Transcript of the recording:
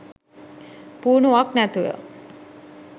පුහුණුවක් නැතුව